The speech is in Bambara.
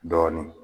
Dɔɔnin